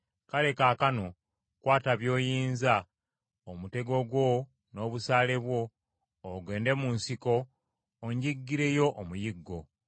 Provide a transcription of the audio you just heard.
Kale kaakano kwata by’oyizza, omutego gwo n’obusaale bwo, ogende mu nsiko onjiggire yo omuyiggo.